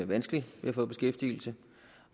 vanskeligt ved at få beskæftigelse